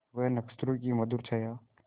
वह नक्षत्रों की मधुर छाया